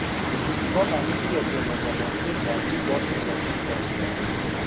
O‘zbekiston olimpiya terma jamoasiga yangi bosh murabbiy tayinlandi.